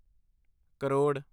crore